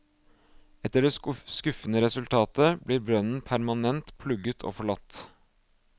Etter det skuffende resultatet, blir brønnen permanent plugget og forlatt.